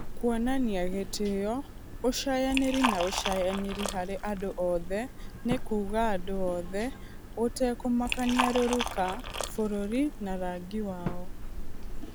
"Kuonania gĩtĩo, ũcayanĩri na ũcayanĩri harĩ andũ othe" nĩ kuuga andũ othe, gũtekũmakania rũruka, bũrũri na rangi wao.